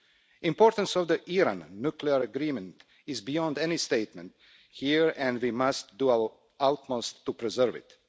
The importance of the Iran nuclear agreement is beyond any statement here, and we must do our utmost to preserve it.